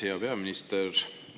Hea peaminister!